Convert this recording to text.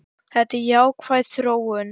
Þetta er jákvæð þróun.